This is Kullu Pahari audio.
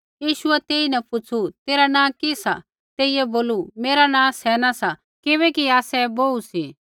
यीशुऐ तेईन पुछ़ू तेरा नाँ कि सा तेइयै बोलू मेरा नाँ सेना सा किबैकि आसै बोहू सी